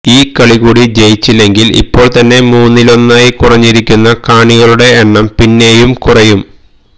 ഈ കളികൂടി ജയിച്ചില്ലെങ്കില് ഇപ്പോള്ത്തന്നെ മൂന്നിലൊന്നായി കുറഞ്ഞിരിക്കുന്ന കാണികളുടെ എണ്ണം പിന്നെയും കുറയും